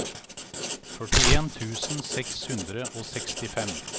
førtien tusen seks hundre og sekstifem